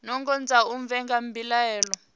nungo dza u vhiga mbilaelo